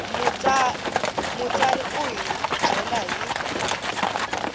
mutsari u hi byela hi